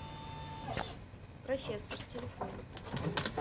профессор телефон